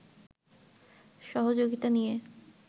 সহযোগিতা নিয়ে